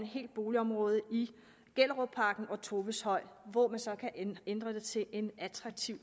helt boligområde i gellerupparken og toveshøj hvor man så kan ændre dem til en attraktiv